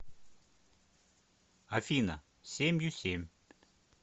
афина семью семь